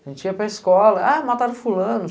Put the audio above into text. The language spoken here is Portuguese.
A gente ia para a escola, mataram fulano.